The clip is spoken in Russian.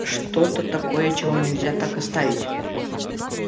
что-то такое чего нельзя так оставить